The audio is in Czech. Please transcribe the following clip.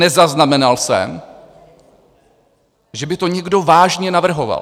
Nezaznamenal jsem, že by to někdo vážně navrhoval.